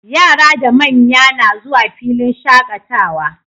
Yara da manya na zuwa filin shaqatawa